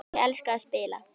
Ég elska að spila.